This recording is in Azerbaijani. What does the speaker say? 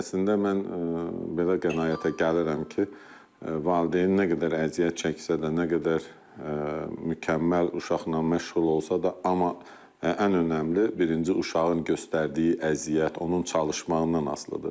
Əslində mən belə qənaətə gəlirəm ki, valideyn nə qədər əziyyət çəksə də, nə qədər mükəmməl uşaqla məşğul olsa da, amma ən önəmli birinci uşağın göstərdiyi əziyyət, onun çalışmaqdan asılıdır.